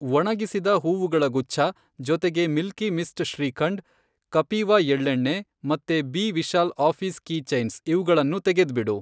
ಒಣಗಿಸಿದ ಹೂವುಗಳ ಗುಚ್ಛ, ಜೊತೆಗೆ ಮಿಲ್ಕಿ ಮಿಸ್ಟ್ ಶ್ರೀಖಂಡ್, ಕಪೀವಾ ಎಳ್ಳೆಣ್ಣೆ, ಮತ್ತೆ B Vishal office key chains ಇವ್ಗಳನ್ನೂ ತೆಗೆದ್ಬಿಡು.